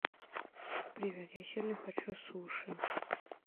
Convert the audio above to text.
привет я сильно хочу суши